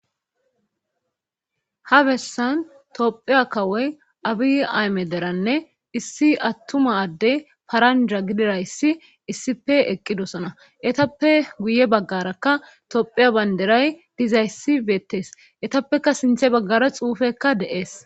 ha bessan tophiya kawoy abi ayme deranne issi attuma adde paranja gidirayssi issipe eqqidosona etappe guye baggarakka tophiya baynderay dizayssi beettees etappeka sinthe baggara xuufekka de7ees